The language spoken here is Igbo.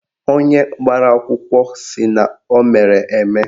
Onye gbara akwụkwọ sị na o mere eme